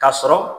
Ka sɔrɔ